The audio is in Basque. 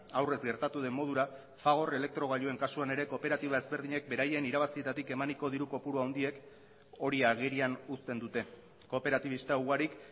aurrez gertatu den modura fagor elektrogailuen kasuan ere kooperatiba ezberdinek beraien irabazietatik emaniko diru kopuru handiek hori agerian uzten dute kooperatibista ugarik